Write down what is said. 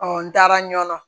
n taara ɲɔn